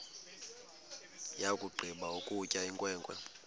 yakugqiba ukutya inkwenkwe